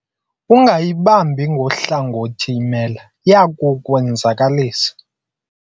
Ungayibambi ngohlangothi imela, iya kukwenzakalisa.